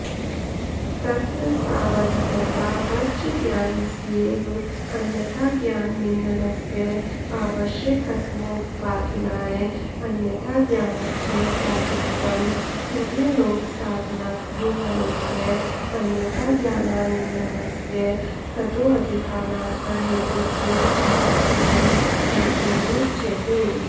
तत्र तावद्यथावज्ज्ञानस्येव अन्यथाज्ञाननिन्दनस्य आवश्यकत्वोपपादनाय अन्यथाज्ञानस्य प्रागुक्तमसुर्यलोकसाधनत्वमनूद्य अन्यथाज्ञानानिन्दनस्य ततोऽधिकानर्थहेतुत्वमाद्येन मन्त्रेणोच्यते